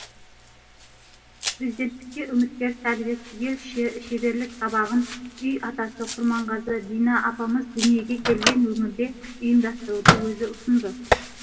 президенттікке үміткер сәдібек түгел шеберлік сабағын күй атасы құрманғазы дина апамыз дүниеге келген өңірде ұйымдастыруды өзі ұсынды